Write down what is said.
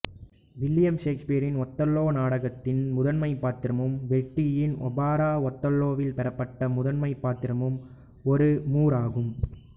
William ஷேக்ஸ்பியரின் Othello நாடகத்தின் முதன்மை பாத்திரமும் வெர்டியின் ஓபரா ஓதெல்லோவில் பெறப்பட்ட முதன்மை பாத்திரமும் ஒரு மூர் ஆகும்